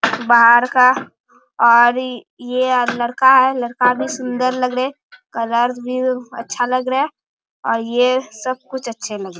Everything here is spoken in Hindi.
बाहर का और इ ये लड़का है | लड़का भी सूंदर लग रहे कलर्स भी अच्छा लग रहा है और ये सब कुछ अच्छे लग रहे हैं ।